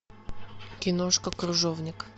киношка крыжовник